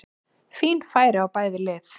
Fín færi á bæði lið!